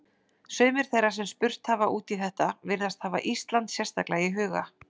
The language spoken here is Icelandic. Sumir þeirra sem spurt hafa út í þetta virðast hafa Ísland sérstaklega í huga.